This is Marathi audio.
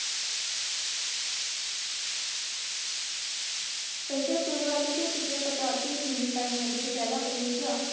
त्याच्या सुरवातीच्या चित्रपटातील भूमिकांमध्ये त्याला ऊर्जा